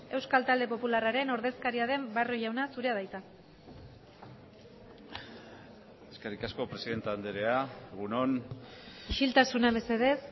euskal talde popularraren ordezkaria den barrio jauna zurea da hitza eskerrik asko presidente andrea egun on isiltasuna mesedez